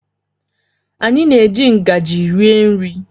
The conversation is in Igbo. Anyị na-eji ngaji rie nri.